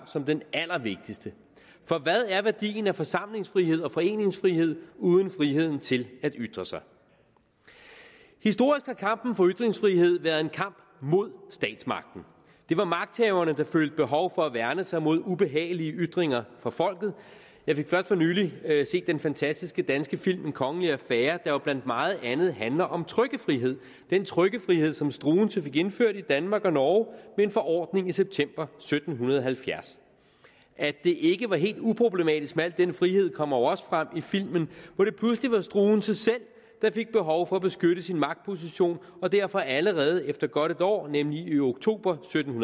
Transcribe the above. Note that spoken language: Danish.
som den allervigtigste for hvad er værdien af forsamlingsfrihed og foreningsfrihed uden friheden til at ytre sig historisk har kampen for ytringsfrihed været en kamp mod statsmagten det var magthaverne der følte behov for at værne sig mod ubehagelige ytringer fra folket jeg fik først for nylig set den fantastiske danske film en kongelig affære der jo blandt meget andet handler om trykkefrihed den trykkefrihed som struensee fik indført i danmark og norge ved en forordning i september sytten halvfjerds at det ikke var helt uproblematisk med al den frihed kommer jo også frem i filmen hvor det pludselig var struensee selv der fik behov for at beskytte sin magtposition og derfor allerede efter godt et år nemlig i oktober sytten